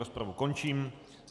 Rozpravu končím.